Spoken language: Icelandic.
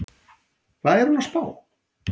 Hvað er hún að spá?